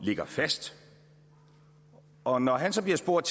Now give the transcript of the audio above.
ligger fast og når han så bliver spurgt